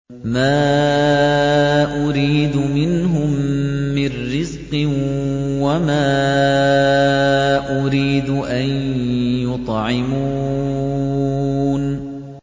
مَا أُرِيدُ مِنْهُم مِّن رِّزْقٍ وَمَا أُرِيدُ أَن يُطْعِمُونِ